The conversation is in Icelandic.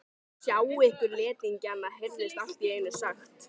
Sjá ykkur letingjana heyrðist allt í einu sagt.